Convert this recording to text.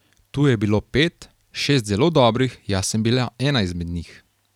Tu je bilo pet, šest zelo dobrih, jaz sem bila ena izmed njih.